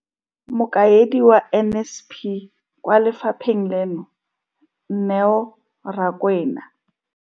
Mokaedi wa NSNP kwa lefapheng leno, Neo Rakwena.